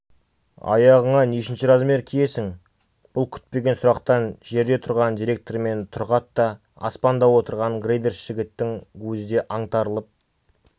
аяғыңа нешінші размер киесің бұл күтпеген сұрақтан жерде тұрған директор мен тұрғат та аспанда отырған грейдерші жігіттің өзі де аңтарылып